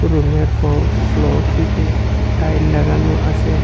রুমের ফো ফ্লোরটিতে টাইল লাগানো আসে।